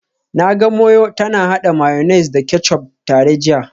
Na ga Moyo tana hada mayonnaise da ketchup tare jiya